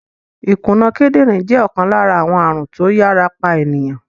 Ìkùna kídìrín jẹ́ ọ̀kan lára àwọn ààrùn tó yàrá pa ènìyàn.